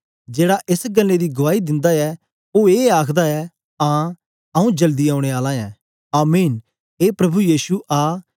जेड़ा एस गल्लें दी गुआई दिंदा ऐ ओ ए आखदा ऐ आं आऊँ जल्दी औने आला ऐं आमीन ए प्रभु यीशु आ